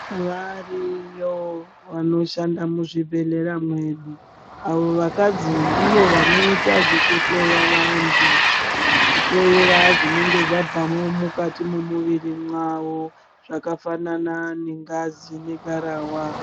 Variyo vanoshanda muzvibhedhlera mwedu avo vakazi ndivo vanoita zvekuhloya vanhu kihloyera zvinenge zvabvamo mumwiri wawo zvakafanana nengazi nengarawa.